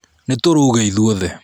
Nítũrũge ithuothe.